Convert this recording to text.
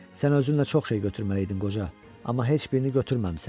Sən özünlə çox şey götürməliydin, qoca, amma heç birini götürməmisən.